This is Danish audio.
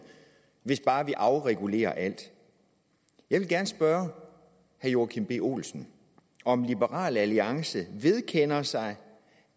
hvis bare vi afregulerer alt jeg vil gerne spørge herre joachim b olsen om liberal alliance vedkender sig